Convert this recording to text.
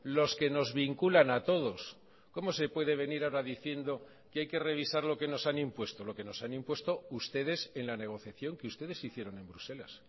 los que nos vinculan a todos cómo se puede venir ahora diciendo que hay que revisar lo que nos han impuesto lo que nos han impuesto ustedes en la negociación que ustedes hicieron en bruselas